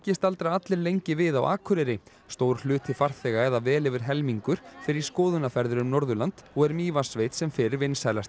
staldra allir lengi við á Akureyri stór hluti farþega eða vel yfir helmingur fer í skoðunarferðir um Norðurland og er Mývatnssveit sem fyrr vinsælasti